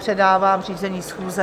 Předávám řízení schůze.